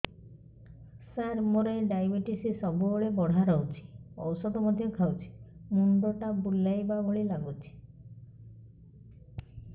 ସାର ମୋର ଡାଏବେଟିସ ସବୁବେଳ ବଢ଼ା ରହୁଛି ଔଷଧ ମଧ୍ୟ ଖାଉଛି ମୁଣ୍ଡ ଟା ବୁଲାଇବା ଭଳି ଲାଗୁଛି